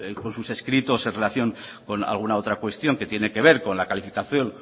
con sus escritos en relación con alguna otra cuestión que tiene que ver con la calificación